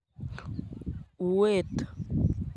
Uuet.